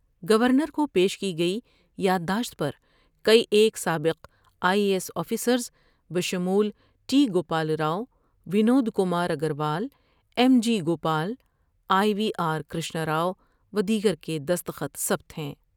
Governor کو پیش کی گئی یادداشت پر کئی ایک سابق آئی اے ایس آفیسرس بشمول T Gopal Rao, Vinod Kumar Agarwal, M G Gopal, I V R Krishnarao و دیگر کے دستخط ثبت ہیں ۔